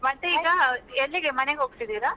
ಹಾ, ಮತ್ತೆ ಈಗ ಎಲ್ಲಿಗೆ ಮನೆಗೆ ಹೋಗ್ತಿದ್ದೀರಾ?